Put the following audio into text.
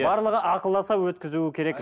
барлығы ақылдаса өткізуі керек